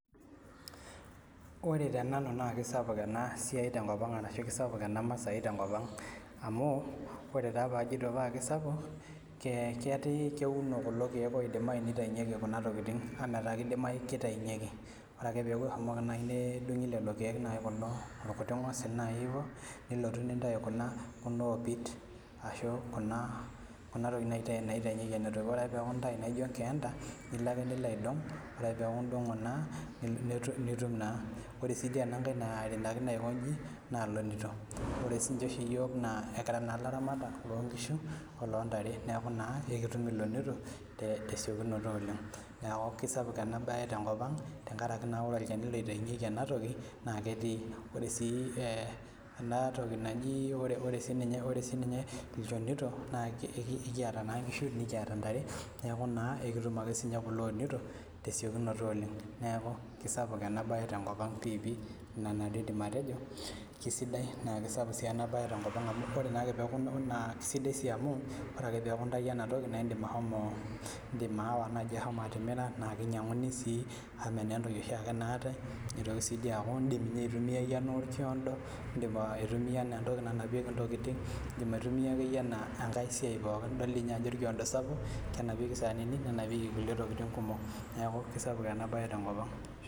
Ore tenanu na kesapuk enasiai ashu enamasai tenkop aang amu ore taa pajito kesapuk na kekumok kulo kiek oidimayu nitaunyeki kunatokitin kidimayu kitaunyeku ore pilo adung irkuti ngosil nilotu nintau kuna opit ashu kuna tokitin naitaunyeki enatoki ore ake pintau naijo nkienda nilo ake nilo aitau nijo kuna ore si kuba tokitin naironakino njo na lonito ore oshi yiol kira laramatak lonkishu oloondare neaku ekitum ilonito tesiokinoto oleng neaku kesapu enasia tenkop aang tenkaraki ore olchani oitaunyeki enatoki na ketii ore si anatoki ore sinye ilchonito na ekitum ake tesiokinoto neaku kesapuk enasia tenkop aang na keidai na kesapuk tenkop aang amu ore ake peaku inoto enatoki na indim ashomo atimira na kinyanguni si anaa entoki nanapieki ntokitin idol ajo orkiondo sapuk lenapieki saanini nenapieki nkulie tokitin kumok neaku kesapuk enasia tenkop aang